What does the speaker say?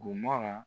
Bomola